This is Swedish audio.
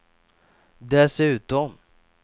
dessutom